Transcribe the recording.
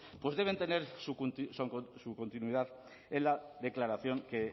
deben tener su continuidad en la declaración que